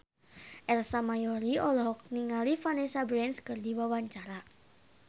Ersa Mayori olohok ningali Vanessa Branch keur diwawancara